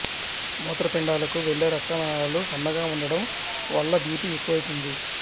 మూత్రపిండాలకు వెళ్లే రక్తనాళాలు సన్నగా ఉండడం వల్ల బిపి ఎక్కువైతుంది